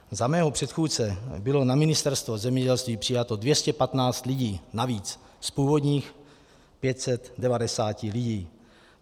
Za mého předchůdce bylo na Ministerstvo zemědělství přijato 215 lidí navíc z původních 590 lidí.